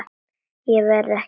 Ég verð ekki þar.